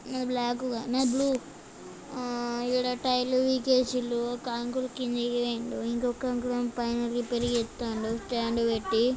నాది బ్లాక్ గా నాది బ్లూ ఆ డ టైర్ లు పికేసిండ్రు ఒక అంకుల్ కిందికి పోయిండు ఇంకొక అంకుల్ ఏమో పైన రిపేర్ చేస్తండు స్టాండ్ పెట్టి